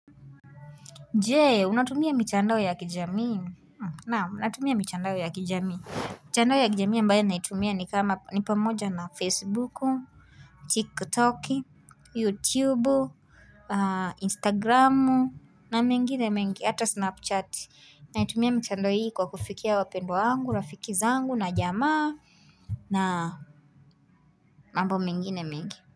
Je, unatumia mitandao ya kijamii Naam natumia mitandao ya kijamii mitandao ya kijamii ambayo naitumia ni kama ni pamoja na Facebooku, TikToki, YouTubu, Instagramu, na mengine mengi hata Snapchati. Naitumia mitandao hii kwa kufikia wapendwa wangu, rafiki zangu na jamaa na mambo mengine mengi.